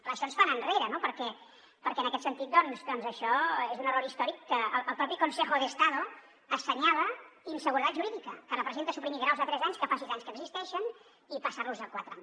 clar això ens fa anar enrere perquè en aquest sentit doncs això és un error històric que el propi consejo de estado assenyala inseguretat jurídica que representa suprimir graus de tres anys que fa sis anys que existeixen i passar los a quatre anys